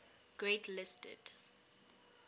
grade listed